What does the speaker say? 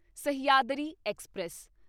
Sahyadri express